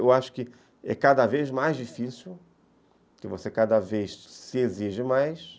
Eu acho que é cada vez mais difícil, que você cada vez se exige mais.